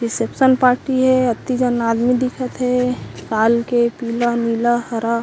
reception party हे अति झन आदमी दिखत हे लाल के पीला नीला हरा--